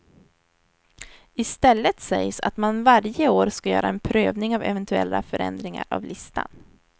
I stället sägs att man varje år ska göra en prövning av eventuella förändringar av listan.